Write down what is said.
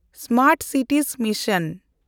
smart cities mission